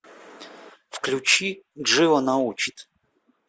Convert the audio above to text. включи джива научит